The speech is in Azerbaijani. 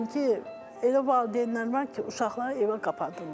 Çünki elə valideynlər var ki, uşaqları evə qapadırlar.